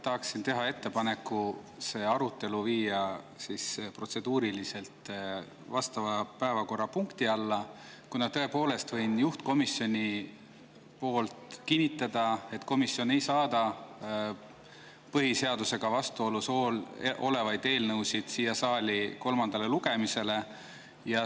Tahaksin teha ettepaneku see arutelu viia vastava päevakorrapunkti alla, kuna võin juhtkomisjoni poolt kinnitada, et komisjon ei saada põhiseadusega vastuolus olevaid eelnõusid siia saali kolmandale lugemisele.